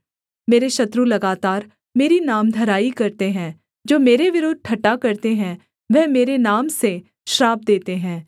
मेरे शत्रु लगातार मेरी नामधराई करते हैं जो मेरे विरुद्ध ठट्ठा करते है वह मेरे नाम से श्राप देते हैं